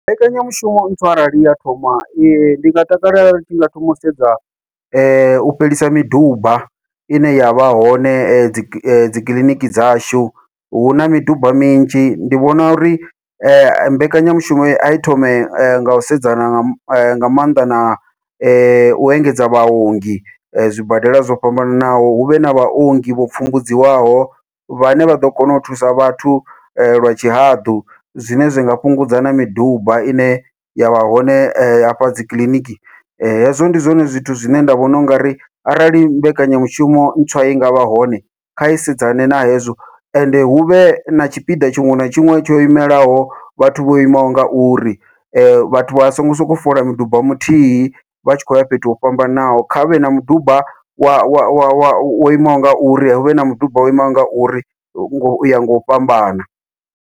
Mbekanyamushumo ntswa arali ya thoma ndi nga takalela i tshi nga thoma u sedza u fhelisa miduba ine yavha hone dziki dzikiḽiniki dzashu, huna miduba minzhi ndi vhona uri mbekanyamushumo ai thome ngau sedzana nga maanḓa na u engedza vhaongi zwibadela zwo fhambananaho, huvhe na vhaongi vho pfumbudziwaho vhane vha ḓo kona u thusa vhathu lwa tshihaḓu, zwine zwi nga fhungudza na miduba ine yavha hone hafha dzikiḽiniki. Hezwo ndi zwone zwithu zwine nda vhona ungari arali mbekanyamushumo ntswa i nga vha hone kha i sedzane na hezwo, ende huvhe na tshipiḓa tshiṅwe na tshiṅwe tsho imelaho vhathu vho imaho ngauri, vhathu vha songo sokou fola miduba muthihi vha tshi khou ya fhethu ho fhambanaho kha huvhe na muduba wa wo imaho ngauri huvhe na mudumba wo imaho ngauri uya ngau fhambana.